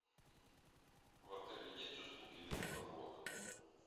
в отеле есть услуги велопрогулок